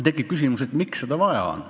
Tekib küsimus, miks seda vaja on.